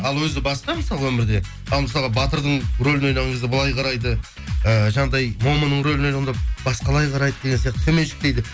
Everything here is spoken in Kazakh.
ал өзі басқа мысалы өмірде ал мысалға батырдың рөлін ойнаған кезде былай қарайды ыыы жаңағыдай момынның рөлін ойнағанда басқалай қарайды деген сияқты төменшіктейді